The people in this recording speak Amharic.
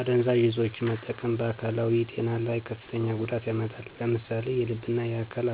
አደንዛዥ እፆችን መጠቀም በአካላዊ ጤና ላይ ከፍተኛ ጉዳት ያመጣል። ለምሳሌ የልብና የአካል